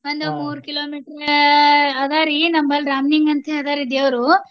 ಮೂರ್ kilo meter ಅದಾವ್ರಿ. ನಮ್ಮಲ್ಲಿ ರಾಮ್ ಲಿಂಗ ಅಂತ ಅದಾರ್ರಿ ದೇವ್ರು.